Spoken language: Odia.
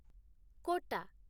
କୋଟା